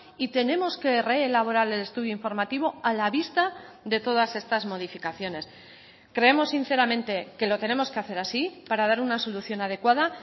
y tenemos que reelaborar el estudio informativo a la vista de todas estas modificaciones creemos sinceramente que lo tenemos que hacer así para dar una solución adecuada